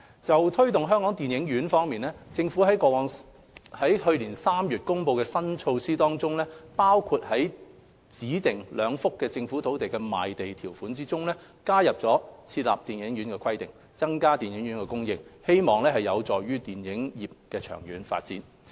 就推動香港電影院方面，政府於去年3月公布的新措施當中，包括在指定兩幅政府土地的賣地條款中，加入設立電影院的規定，增加電影院的供應，希望有助電影業的長遠發展。